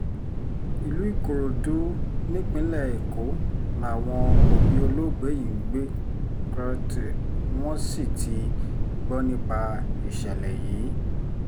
ìlú ìkòròdú nípínlẹ̀ èkó làwọn òbí olóògbé yìí ń gbé wọ́n sì ti gbọ́ nípa ìṣẹ̀lẹ̀ yìí